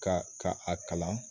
Ka ka a kalan